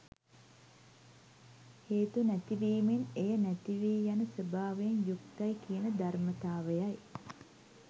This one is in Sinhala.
හේතු නැතිවීමෙන් එය නැතිවී යන ස්වභාවයෙන් යුක්තයි කියන ධර්මතාවයයි.